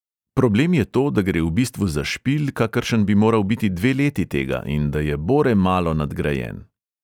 Problem je to, da gre v bistvu za špil, kakršen bi moral biti dve leti tega, in da je bore malo nadgrajen.